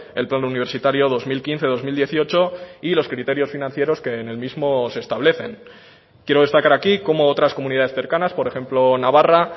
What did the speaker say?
el plan universitario dos mil quince dos mil dieciocho y los criterios financieros que en el mismo se establecen quiero destacar aquí cómo otras comunidades cercanas por ejemplo navarra